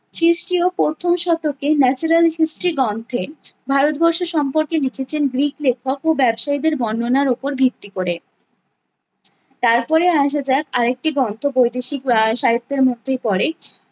খ্রিস্টীয় প্রথম শতকে natural history গ্রন্থে ভারতবর্ষ সম্পর্কে লিখেছে গ্রিক লেখক ও ব্যবসীদের বর্ণনার ওপর ভিত্তি করে। তারপরে আসা যাক আরেকটি গন্থ বৈদেশিক আহ সাহিত্যের মধ্যেই পরে